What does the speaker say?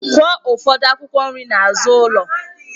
Kụọ ụfọdụ akwụkwọ nri n'azụ ụlọ!